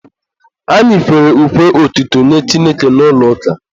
Anyị kwere ukwe otuto nye Chineke n'ụlọ ụka.